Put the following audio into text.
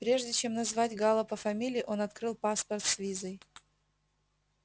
прежде чем назвать гаала по фамилии он открыл паспорт с визой